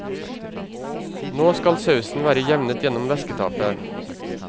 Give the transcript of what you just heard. Nå skal sausen være jevnet gjennom væsketapet.